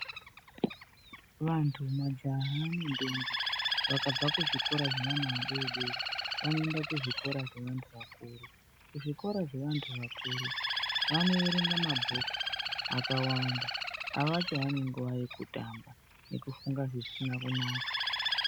Vantu, majaha nentombi vakabva kuzvikora zveana adodori vanoenda kuzvikora zveantu akuru. Kuzvikora zveantu akuru vanoerenga mabhuku akawanda, avachaoni nguwa yekutamba nekufunga zvisina kunaka.